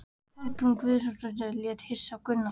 Kolbrún Guðjónsdóttir leit hissa á Gunnar.